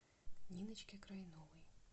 ниночке крайновой